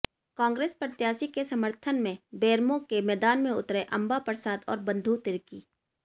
कांग्रेस प्रत्याशी के समर्थन में बेरमो के मैदान में उतरे अंबा प्रसाद और बंधु तिर्की